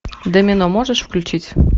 домино можешь включить